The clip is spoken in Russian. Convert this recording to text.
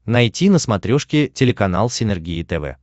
найти на смотрешке телеканал синергия тв